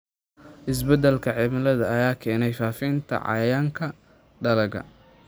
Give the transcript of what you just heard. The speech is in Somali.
Isbeddelka cimilada ayaa keenaya faafitaanka cayayaanka dalagga.